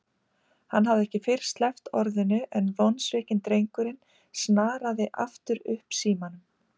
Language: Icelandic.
Hann hafði ekki fyrr sleppt orðinu en vonsvikinn drengurinn snaraði aftur upp símanum.